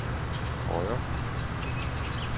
højre